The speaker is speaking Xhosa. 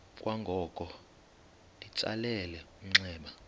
kwangoko litsalele umnxeba